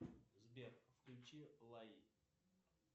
сбер включи лай